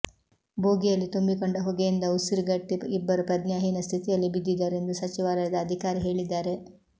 ಬೋಗಿಯಲ್ಲಿ ತುಂಬಿ ಕೊಂಡ ಹೊಗೆಯಿಂದ ಉಸಿರುಗಟ್ಟಿ ಇಬ್ಬರು ಪ್ರಜ್ಞಾಹೀನ ಸ್ಥಿತಿಯಲ್ಲಿ ಬಿದ್ದಿದ್ದರು ಎಂದು ಸಚಿವಾಲಯದ ಅಧಿಕಾರಿ ಹೇಳಿದ್ದಾರೆ